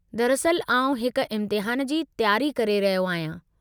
दरअस्ल आउं हिक इम्तिहान जी तयारी करे रहियो आहियां।